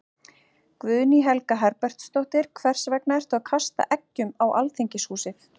Guðný Helga Herbertsdóttir: Hvers vegna ertu að kasta eggjum á Alþingishúsið?